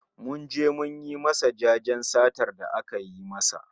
Mun je mun yi masa jajen satar da aka yi masa